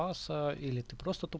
или ты